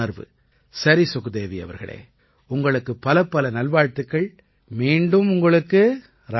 சரி சுக்தேவீ அவர்களே உங்களுக்குப் பலப்பல நல்வாழ்த்துக்கள் மீண்டும் உங்களுக்கு ராதே ராதே